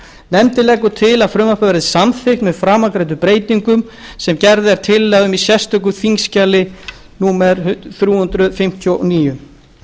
nefndin leggur til að frumvarpið verði samþykkt með framangreindum breytingum sem gerð er tillaga um í sérstöku þingskjali númer þrjú hundruð fimmtíu og níu